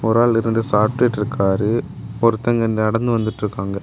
ஒரு ஆள் இருந்து சாப்ட்டுட்டு இருக்காரு ஒருத்தங்க நடந்து வந்துட்டு இருக்காங்க.